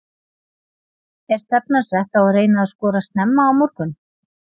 Er stefnan sett á að reyna að skora snemma á morgun?